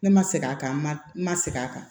Ne ma segin a kan n ma segin a kan